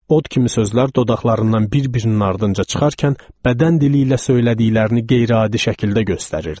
Od kimi sözlər dodaqlarından bir-birinin ardınca çıxarkən bədən dili ilə söylədiklərini qeyri-adi şəkildə göstərirdi.